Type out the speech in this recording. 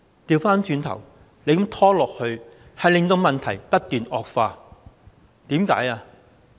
相反，這樣拖延令問題不斷惡化。